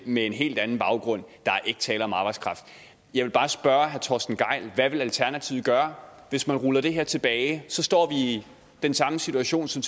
med en helt anden baggrund der er ikke tale om arbejdskraft jeg vil bare spørge herre torsten gejl hvad vil alternativet gøre hvis man ruller det her tilbage så står vi i den samme situation som